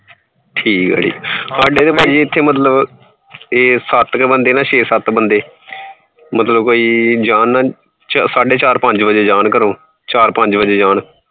ਠੀਕ ਏ ਸਾਡੇ ਤਾ ਐਥੇ ਮਤਲਬ ਸੱਤ ਕ ਬੰਦੇ, ਛੇ ਸੱਤ ਬੰਦੇ ਜਾਨ ਨਾ ਕੋਈ ਸਾਡੇ ਚਾਰ ਪੰਜ ਵਜੇ ਜਾਣ ਘਰੋਂ, ਚਾਰ ਪੰਜ ਵਜੇ ਜਾਣ